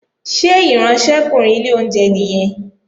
Ṣé ìránṣẹ́kùnrin ilé oúnjẹ nìyẹn?